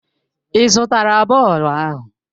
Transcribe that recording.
Ị zụtara bọọlụ ahụ?